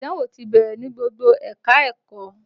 Ìdánwò ti bẹ̀rẹ̀ ní gbogbo ẹ̀ka-ẹ̀kọ́